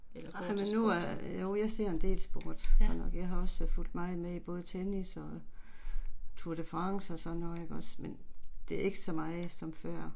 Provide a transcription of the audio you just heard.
Ej men nu øh jo jeg ser en del sport godt nok. Jeg har også fugt meget med i både tennis og Tour de France og sådan noget ikke også, men det er ikke så meget som før